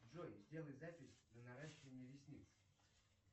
джой сделай запись на наращивание ресниц